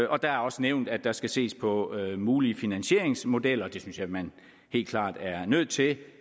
og der er også nævnt at der skal ses på mulige finansieringsmodeller det synes jeg man helt klart er nødt til